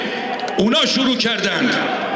Onlar başladılar.